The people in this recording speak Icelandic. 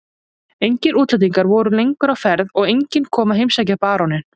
Engir útlendingar voru lengur á ferð og enginn kom að heimsækja baróninn.